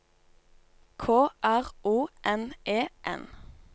K R O N E N